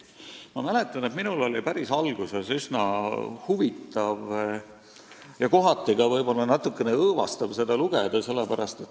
Ma mäletan, et minul oli päris alguses üsna huvitav ja kohati ka natukene õõvastav seda lugeda.